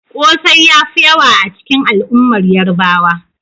Kosai ya fi yawa a cikin al'ummar Yarbawa.